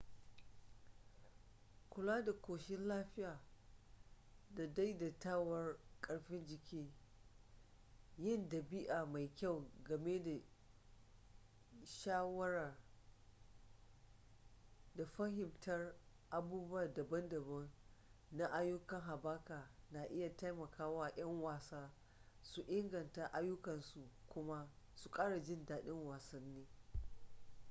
kula da ƙoshin lafiya da daidaituwar karfin jiki yin ɗabi'a mai kyau game da shayarwa da fahimtar abubuwa daban-daban na ayyukan haɓaka na iya taimaka wa 'yan wasa su inganta ayyukansu kuma su ƙara jin daɗin wasanni